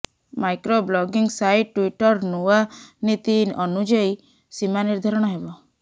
micro blogging site Twitter ନୂଆ ନୀତି ଅନୁଯାୟୀ ସୀମା ନିର୍ଦ୍ଧାରଣ ହେବ